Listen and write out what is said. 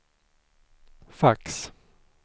fax